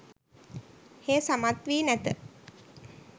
හේ සමත් වී නැත